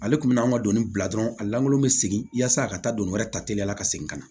Ale tun bɛ anw ka doni bila dɔrɔn a lankolon bɛ segin yaasa a ka taa don wɛrɛ ta teliya ka segin ka na